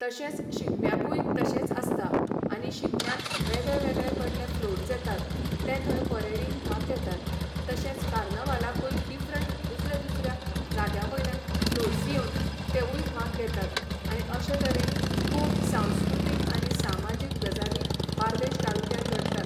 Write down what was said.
तशेंच शिगम्याकूय तशेंच आसता आनी शिगम्याक वेगळेवेगळे कडले फ्लोट्स येतात तें थंय परेडीन भाग घेतात तशेंच कार्नवलाकूय डिफरंट दुसऱ्या दुसऱ्या जाग्यां वयल्यान फ्लोट्स येवन तेंवूय भाग घेतात आनी अशें तरेन खूब संस्कृतिक आनी सामाजीक गजाली बार्देश तालुक्यांत घडटात.